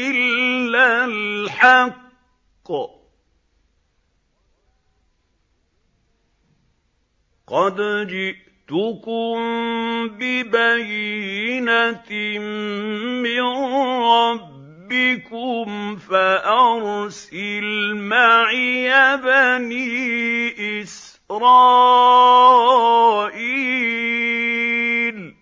إِلَّا الْحَقَّ ۚ قَدْ جِئْتُكُم بِبَيِّنَةٍ مِّن رَّبِّكُمْ فَأَرْسِلْ مَعِيَ بَنِي إِسْرَائِيلَ